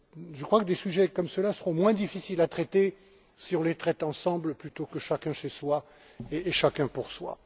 Je crois que des sujets comme ceux là seraient moins difficiles à traiter si nous les traitons ensemble, plutôt que chacun chez soi et chacun pour soi.